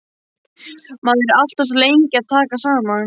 Maður er alltaf svo lengi að taka saman.